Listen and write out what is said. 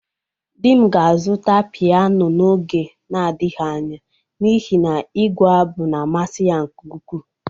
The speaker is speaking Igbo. Di m ga-azụta piyano n'oge na-adaghi anya n'ihi na igu-abụ na-amasi ya nke ukwu.